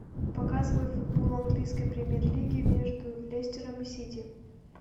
показывай футбол английской премьер лиги между лестером и сити